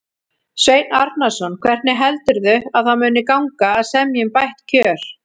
Sveinn Arnarson: Hvernig heldurðu að það muni gangi að semja um bætt kjör?